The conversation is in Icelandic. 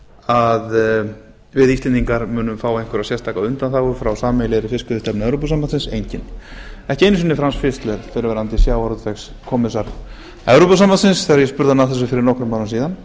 að við íslendingar munum fá einhverja sérstaka undanþágu frá sameiginlegri fiskveiðistefnu evrópusambandsins eiga ekki efnum sinni fram fitler fyrrverandi sjávarútvegskommissar evrópusambandsins þegar ég spurði hann að þessu fyrir nokkrum árum síðan